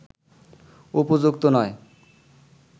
উপযুক্ত নয়